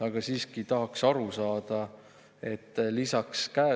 Aga siiski tahaks aru saada.